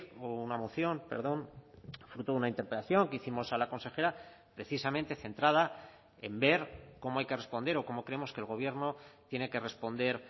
o una moción perdón fruto de una interpelación que hicimos a la consejera precisamente centrada en ver cómo hay que responder o como creemos que el gobierno tiene que responder